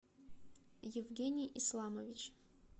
евгений исламович